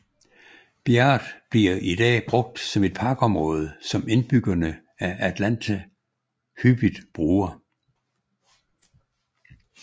Bjerget bliver i dag brugt som et parkområde som indbyggerne af Atlanta hyppigt bruger